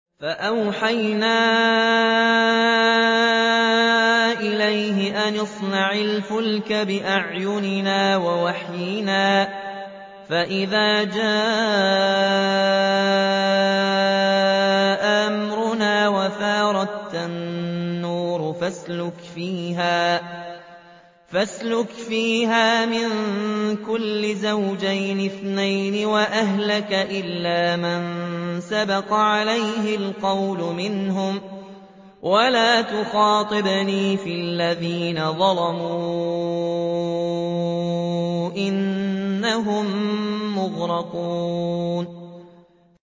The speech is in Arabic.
فَأَوْحَيْنَا إِلَيْهِ أَنِ اصْنَعِ الْفُلْكَ بِأَعْيُنِنَا وَوَحْيِنَا فَإِذَا جَاءَ أَمْرُنَا وَفَارَ التَّنُّورُ ۙ فَاسْلُكْ فِيهَا مِن كُلٍّ زَوْجَيْنِ اثْنَيْنِ وَأَهْلَكَ إِلَّا مَن سَبَقَ عَلَيْهِ الْقَوْلُ مِنْهُمْ ۖ وَلَا تُخَاطِبْنِي فِي الَّذِينَ ظَلَمُوا ۖ إِنَّهُم مُّغْرَقُونَ